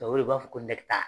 Tubabuw de b'a fɔ ko